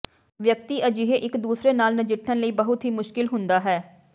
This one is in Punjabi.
ਵਿਅਕਤੀ ਅਜਿਹੇ ਇੱਕ ਦੂਸਰੇ ਨਾਲ ਨਜਿੱਠਣ ਲਈ ਬਹੁਤ ਹੀ ਮੁਸ਼ਕਲ ਹੁੰਦਾ ਹੈ